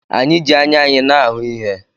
Anyị ji anya anyị na-ahụ ihe.